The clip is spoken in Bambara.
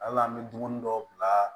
Hali an bɛ dumuni dɔw bila